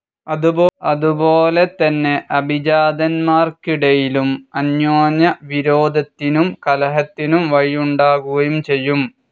അതുപോലെതന്നെ അഭിജാതൻമാർക്കിടയിലും അന്യോന്യവിരോധത്തിനും കലഹത്തിനും വഴിയുണ്ടാകുകയും ചെയ്യും.